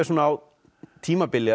á tímabili